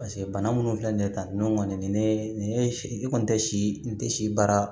paseke bana munnu filɛ nin ye tan nɔn kɔni ne nin ye si i kɔni tɛ si tɛ si baara